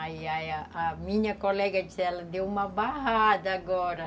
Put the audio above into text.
Aí a a minha colega disse, ela deu uma barrada agora.